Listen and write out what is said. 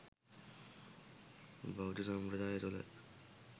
බෞද්ධ සම්ප්‍රදාය තුළ